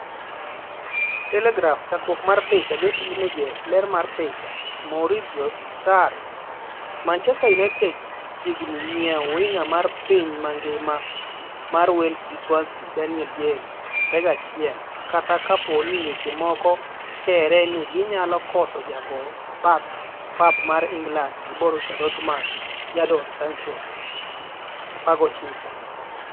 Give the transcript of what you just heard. (Telegraph) Chakruok mar picha, Getty Images. ler mar picha, Maurizio Sarri .Manchester United chiegni nyiew winga mar piny mangima mar Wales gi Swansea Daniel James, 21, kata kapo ni weche moko kere ni ginyalo koso jago bath pap mar England gi Borussia Dortmund Jadon Sancho, 19.